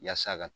Yasa ka